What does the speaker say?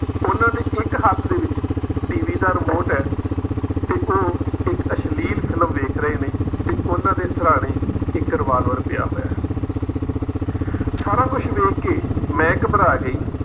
ਉਨ੍ਹਾਂ ਦੇ ਇੱਕ ਹੱਥ ਦੇ ਵਿੱਚ TV ਦਾ remote ਹੈ ਤੇ ਉਹ ਇੱਕ ਅਸ਼ਲੀਲ film ਵੇਖ ਰਹੇ ਨੇ ਤੇ ਉਨ੍ਹਾਂ ਦੇ ਸਿਰਹਾਣੇ ਇੱਕ revolver ਪਿਆ ਹੋਇਆ ਹੈ ਸਾਰਾ ਕੁਝ ਵੇਖ ਕੇ, ਮੈਂ ਘਬਰਾ ਗਈ।